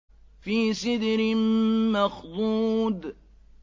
فِي سِدْرٍ مَّخْضُودٍ